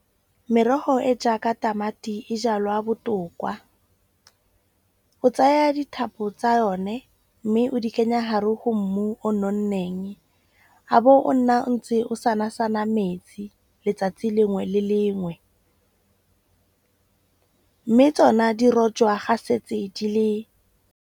Merogo e jaaka tamati e jalwa botokwa. O tsaya dithapo tsa yone, mme o di kenya hare ho mmu o nonneng. A bo o nna o ntse o sana sana metsi letsatsi lengwe le lengwe. Mme tsona di rojwa ga setse di le.